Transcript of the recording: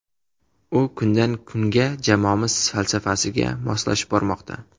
U kundan kunga jamoamiz falsafasiga moslashib bormoqda.